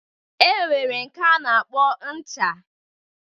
E nwere nke a na-akpọ ncha.